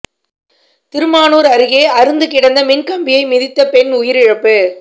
திருமானூா் அருகே அறுந்து கிடந்த மின்கம்பியை மிதித்த பெண் உயிரிழப்பு